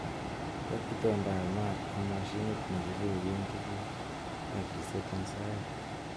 Tet itondaab maat en mashinit nekipurgeen tuguk ak iseten sait.